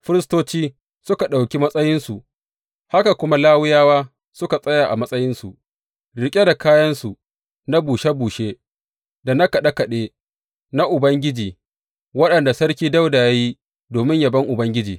Firistoci suka ɗauki matsayinsu, haka kuma Lawiyawa suka tsaya a matsayinsu riƙe da kayansu na bushe bushe da na kaɗe kaɗe na Ubangiji, waɗanda Sarki Dawuda ya yi domin yabon Ubangiji.